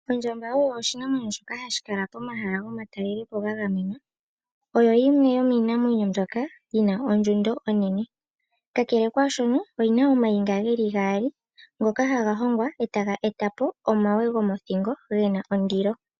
Ondjamba oyo oshinamwenyo hashi kala pomahala gomatalelepo gagamenwa . Oyo yimwe yomiinamwenyo mbyoka yina ondjundo onene . Kakele kwaashono, oyina omayinga geli gaali ngoka haga hongwa etaga etapo omawe gomothingo gena ondilo.